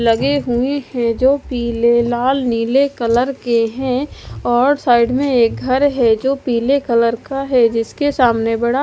लगे हुए है जो पीले लाल नीले कलर के है और साइड में एक घर है जो पीले कलर का है जिसके सामने बड़ा--